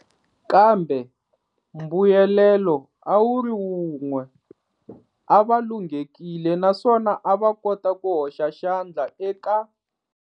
Kambe mbuyelelo a wu ri wun'we- a va lunghekile naswona a va kota ku hoxa xandla eka.